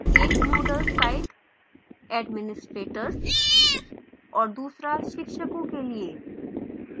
एक moodle site administrators और दूसरा शिक्षकों के लिए